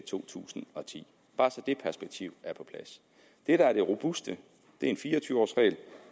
to tusind og ti bare så det perspektiv er på plads det der er det robuste er en fire og tyve års regel